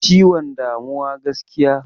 Ciwon damuwa gaskiya.